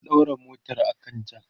na daura motar a kan jack